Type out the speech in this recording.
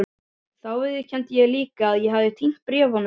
Þá viðurkenndi ég líka að ég hefði týnt bréfunum.